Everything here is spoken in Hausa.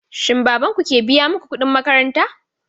Shin baban ku ke biya muku kuɗin makaranta?